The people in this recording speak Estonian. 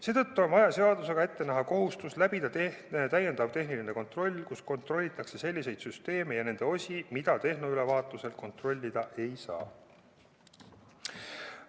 Seetõttu on vaja seadusega ette näha kohustus läbida täiendav tehniline kontroll, kus kontrollitakse selliseid süsteeme ja nende osi, mida tehnoülevaatusel kontrollida ei saa.